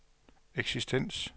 eksistens